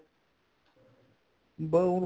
ਬੱਸ ਉਹ